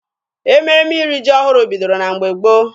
Ememe iri ji ọhụrụ bidoro na mgbe gboo.